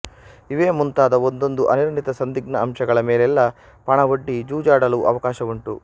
ಇವೇ ಮುಂತಾದ ಒಂದೊಂದು ಅನಿರ್ಣಿತ ಸಂದಿಗ್ಧ ಅಂಶಗಳ ಮೇಲೆಲ್ಲ ಪಣವೊಡ್ಡಿ ಜೂಜಾಡಲು ಅವಕಾಶವುಂಟು